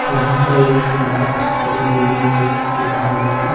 यहाँ पर एक बहुत बड़ी बिल्डिंग को दिखाया गया है।